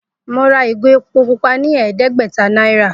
Mo ra ìgò epo pupa ní è̩é̩dé̩gbè̩ta náírà